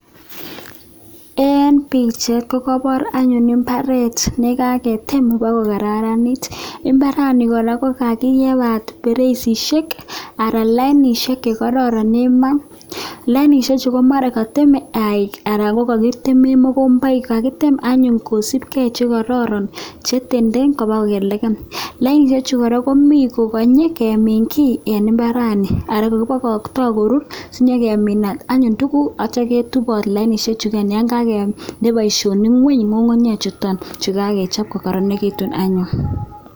Ing pichait kopor anyun mbaret nekakitem kokarnit kakipal mtaroishek ako lainwek chekororon ako kakiteme mokomboik kakitem anyun kosupke chekororon lainwechuta kora kokinyi meche nyekemin ako ketup anyun lainwechuta.